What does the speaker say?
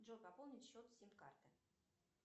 джой пополнить счет сим карты